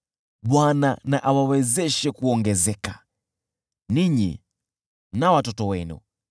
Bwana na awawezeshe kuongezeka, ninyi na watoto wenu.